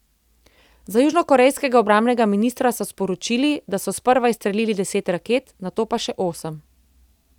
Z južnokorejskega obrambnega ministrstva so sporočili, da so sprva izstrelili deset raket, nato pa še osem.